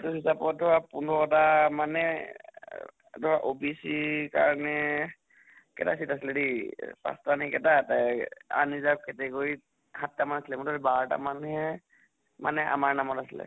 সেইটো হিচাপটো পোন্ধৰটা মানে এহ ধৰক OBC কাৰণে কেইটা seat আছিলে দে, পাঁছটা নে কেইটা undeserved category ত সাত্টা মান আছিলে । মুঠতে বাৰটা মান্হে মানে আমাৰ নামত আছিলে